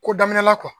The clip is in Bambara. Ko daminɛna